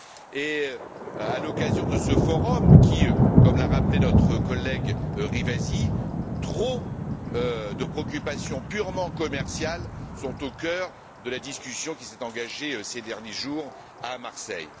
Et, à l'occasion de ce forum, comme l'a rappelé notre collègue Rivasi, trop de préoccupations purement commerciales sont au cœur de la discussion qui s'est engagée ces derniers jours à Marseille.